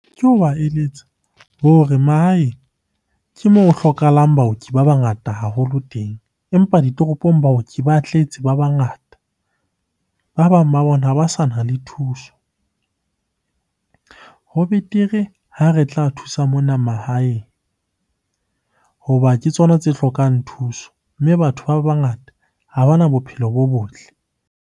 Ke hoba eletsa ho re mahaeng ke moo ho hlokahalang baoki ba bangata haholo teng, empa ditoropong baoki ba tletse ba bangata. Ba bang ba bona ha ba sa na le thuso. Ho betere ha re tla thusa mona mahaeng hoba ke tsona tse hlokang thuso, mme batho ba bangata ha bana bophelo bo botle.